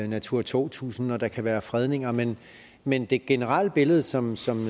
natura to tusind og der kan være fredninger men men det generelle billede som som